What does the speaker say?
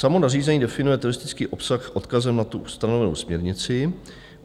Samo nařízení definuje teroristický obsah odkazem na tu ustanovenou směrnici.